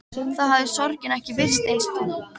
Þá hafði sorgin ekki virst eins þung.